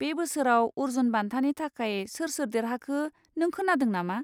बे बोसोराव अर्जुन बान्थानि थाखाय सोर सोर देरहाखो नों खोनादों नामा?